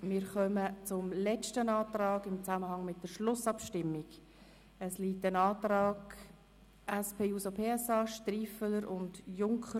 Wir kommen zum letzten Antrag im Zusammenhang mit der Schlussabstimmung, dem Antrag der SP-JUSO-PSA-Fraktion von den Grossrätinnen Striffeler und Junker.